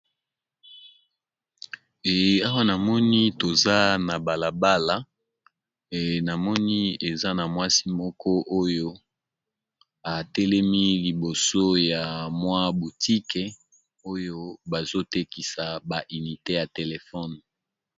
Awa namoni toza na balabala na moni eza na mwasi moko oyo atelemi liboso ya mwa botique oyo bazotekisa bainite ya telephone.